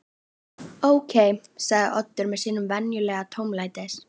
Ókei sagði Oddur með sínum venjulega tómlætis